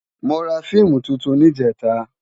Mó rá fiimú tútún nijètá